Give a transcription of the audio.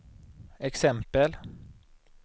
exempel